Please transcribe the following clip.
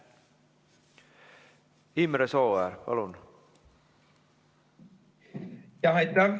Imre Sooäär, palun!